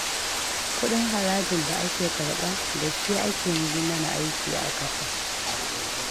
Kuɗin harajin da ake karɓa, da shi ake yi mana aiki a ƙasa